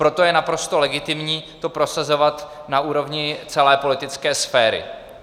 Proto je naprosto legitimní to prosazovat na úrovni celé politické sféry.